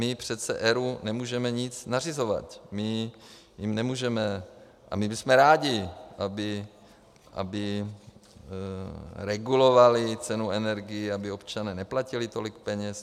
My přece ERÚ nemůžeme nic nařizovat, my jim nemůžeme, a my bychom rádi, aby regulovali cenu energií, aby občané neplatili tolik peněz.